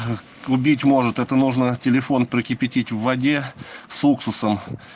убить может это нужно телефон прокипятить в воде с уксусом